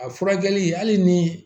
A furakɛli hali ni